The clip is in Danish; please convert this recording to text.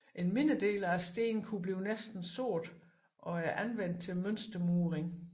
En mindre del af stenene kunne blive næsten sorte og er anvendt til mønstermuring